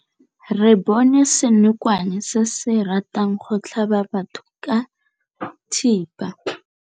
Re bone senokwane se se ratang go tlhaba batho ka thipa.